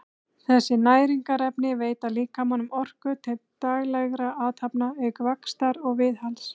þessi næringarefni veita líkamanum orku til daglegra athafna auk vaxtar og viðhalds